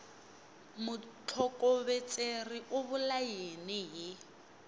mutlhokovetseri u vula yini hi